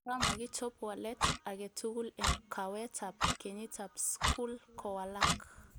Kora makichob walet aketugul en kaweetab kenyitab skuli kowalak